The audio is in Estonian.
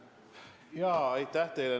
Aitäh teile!